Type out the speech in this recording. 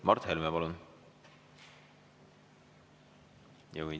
Mart Helme, palun!